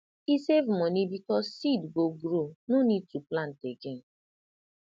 e save money because seed go grow no need to plant again